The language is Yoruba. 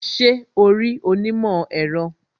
Ṣé o rí onímọ̀ èro